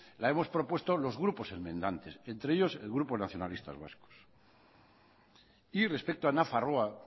la hemos propuesto los grupos enmendantes entre ellos el grupo nacionalistas vascos y respecto a nafarroa